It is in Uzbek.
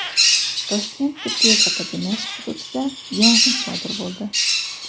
Toshkent tibbiyot akademiyasi hududida yong‘in sodir bo‘ldi.